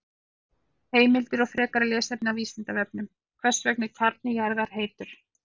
Heimildir og frekara lesefni á Vísindavefnum: Hvers vegna er kjarni jarðar heitur?